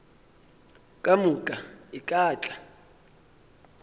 ka moka e ka tla